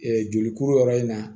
jolikuru yɔrɔ in na